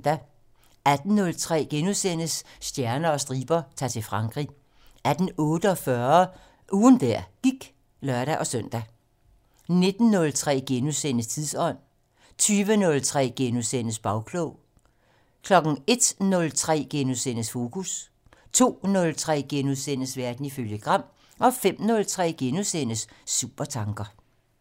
18:03: Stjerner og striber - Ta'r til Frankrig * 18:48: Ugen der gik (lør-søn) 19:03: Tidsånd * 20:03: Bagklog * 01:03: Fokus * 02:03: Verden ifølge Gram * 05:03: Supertanker *